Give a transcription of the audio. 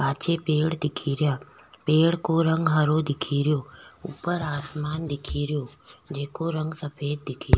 पाछे पेड़ दिखेरा पेड़ को रंग हरो दिखेरो ऊपर आसमान दिखेरो जिको रंग सफेद दिखेरो।